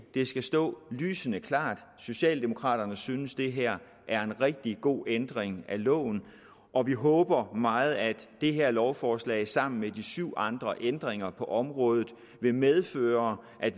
det skal stå lysende klart socialdemokraterne synes at det her er en rigtig god ændring af loven og vi håber meget at det her lovforslag sammen med de syv andre ændringer på området vil medføre at